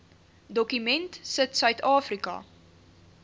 dokument sit suidafrika